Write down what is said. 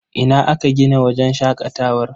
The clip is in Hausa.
Ina aka gina wajen shaƙatawar?